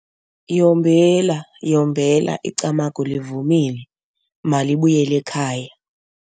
Yombela, yombela icamagu livumile. Malibuyele ekhaya.